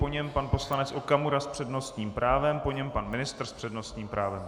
Po něm pan poslanec Okamura s přednostním právem, po něm pan ministr s přednostním právem.